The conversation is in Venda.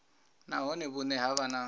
nahone vhune ha vha na